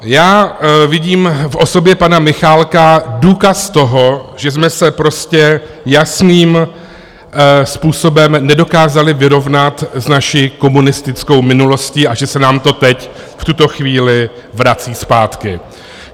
Já vidím v osobě pana Michálka důkaz toho, že jsme se prostě jasným způsobem nedokázali vyrovnat s naší komunistickou minulostí a že se nám to teď v tuto chvíli vrací zpátky.